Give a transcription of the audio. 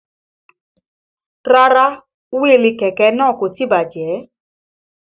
Rárá wíìlì kẹ̀kẹ́ náà kò tí bàjẹ́